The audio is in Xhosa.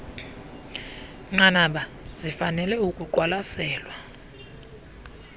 nqanaba zifanele ukuqwalaselwa